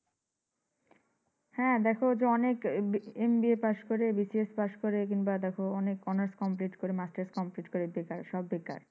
হ্যাঁ। দেখো এই যে, অনেক MBA পাশ করে BCS পাশ করে কিংবা দেখো অনেক honors complete করে masters complete বেকার সব বেকার